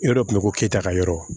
Yɔrɔ dɔ tun bɛ ko keyita ka yɔrɔ